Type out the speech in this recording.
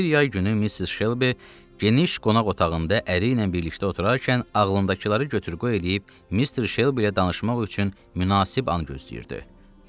Bir yay günü Missis Şelbi geniş qonaq otağında əri ilə birlikdə oturarkən ağlındakıları götür qoy eləyib Mister Şelbi ilə danışmaq üçün münasib an gözləyirdi.